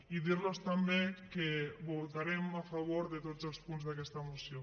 i dir los també que votarem a favor de tots els punts d’aquesta moció